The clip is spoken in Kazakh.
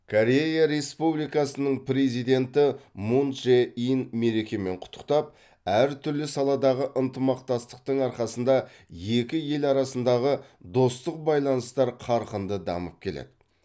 корея республикасының президенті мун чжэ ин мерекемен құттықтап әртүрлі саладағы ынтымақтастықтың арқасында екі ел арасындағы достық байланыстар қарқынды дамып келеді